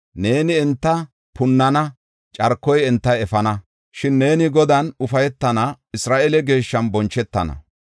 Neeni enta punnana; carkoy enta efana; shin neeni Godan ufaytana; Isra7eele Geeshshan bonchetana.”